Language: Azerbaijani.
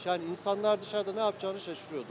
Yəni insanlar dışarda nə yapacağını şaşırıyordu.